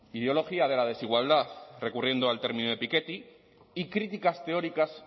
ideología de la desigualdad recurriendo al término de piketty y críticas teóricas